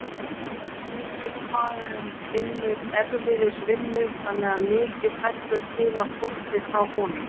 Heimilisfaðirinn vinnur erfiðisvinnu þannig að mikið fellur til af þvotti frá honum.